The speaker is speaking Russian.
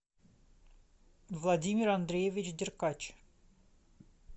владимир андреевич деркач